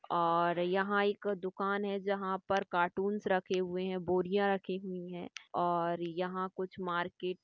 ओर यहाँ एक दुकान है जहाँ पर कार्टून्स रखे हुए है बोरिया रखी हुई है और यहाँ कुछ मार्केट --